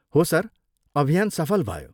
हो सर, अभियान सफल भयो।